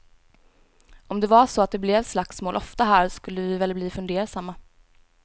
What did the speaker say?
Om det var så att det blev slagsmål ofta här så skulle vi väl bli fundersamma.